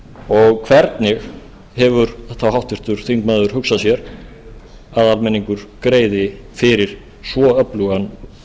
og hvernig hefur þá háttvirtur þingmaður hugsað sér að almenningur greiði fyrir svo öflugan